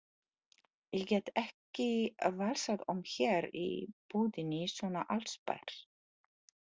Ég get ekki valsað um hér í búðinni svona allsber.